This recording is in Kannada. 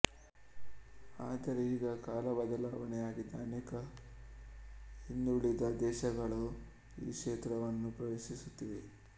ಆದರೆ ಈಗ ಕಾಲ ಬದಲಾವಣೆಯಾಗಿದ್ದು ಅನೇಕ ಹಿಂದುಳಿದ ದೇಶಗಳೂ ಈ ಕ್ಷೇತ್ರವನ್ನು ಪ್ರವೇಶಿಸುತ್ತಿವೆ